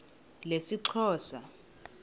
lesixhosa